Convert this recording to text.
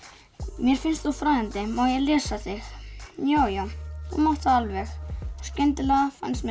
mér finnst þú fræðandi má ég lesa þig já já þú mátt það alveg skyndilega fannst mér